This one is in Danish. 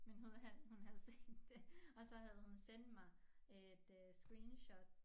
Men hun havde hun havde set det og så havde hun sendt mig et øh screenshot